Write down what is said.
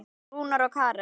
Rúnar og Karen.